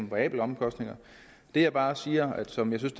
variabel omkostning det jeg bare siger og som jeg synes